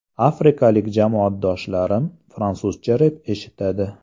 Afrikalik jamoadoshlarim fransuzcha rep eshitadi.